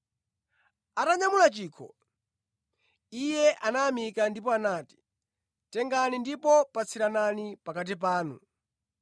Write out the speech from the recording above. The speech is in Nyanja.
Atanyamula chikho, Iye anayamika ndipo anati, “Tengani ndipo patsiranani pakati panu.